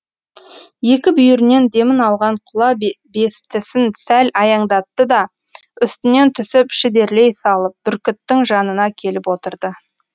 екі бүйірінен демін алған құла бестісін сәл аяңдатты да үстінен түсіп шідерлей салып бүркіттің жанына келіп отырды